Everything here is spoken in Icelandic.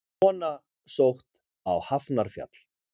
Kona sótt á Hafnarfjall